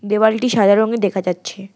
দেওয়ালটি সাদা রঙের দেখা যাচ্ছে।